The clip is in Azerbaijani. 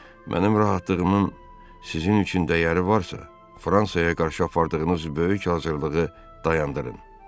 Mənim rahatlığımın sizin üçün dəyəri varsa, Fransaya qarşı apardığınız böyük hazırlığı dayandırın.